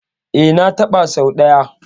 E, na taɓa sau ɗaya.